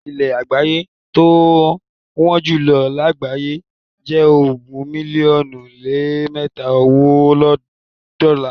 Ilé́ ìyàgbẹ́ tí wọ́n jùlọ lágbàáyé jẹ ogún mílíọ́nù lé mẹta owó dọ́la.